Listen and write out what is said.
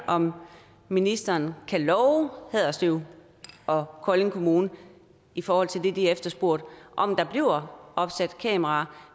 om ministeren kan love haderslev og kolding kommune i forhold til det de efterspurgte om der bliver opsat kameraer